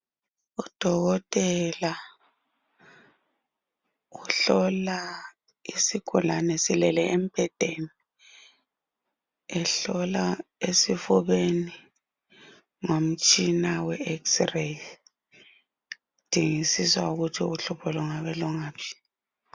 Udokotela uhlola isigulani silele embhedeni ehlola esifubeni ngomtshina we x ray. Edingisisa ukuthi uhlupho lungabe lungaphi.